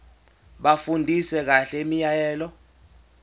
bafundisise kahle imiyalelo